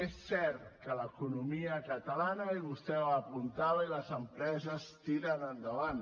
és cert que l’economia catalana i vostè ho apuntava i les empreses tiren endavant